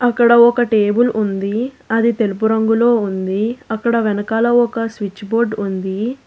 ఇక్కడ ఒక టేబుల్ ఉంది అది తెలుపు రంగులో ఉంది అక్కడ వెనకాల ఒక స్విచ్ బోర్డు ఉంది.